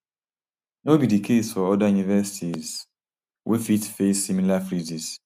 no be di case for oda universities wey fit face similar freezes